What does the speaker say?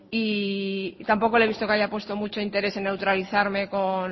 y tampoco le he visto que haya puesto mucho interés en neutralizarme